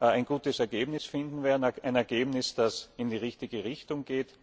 ein gutes Ergebnis finden werden ein Ergebnis, das in die richtige Richtung geht.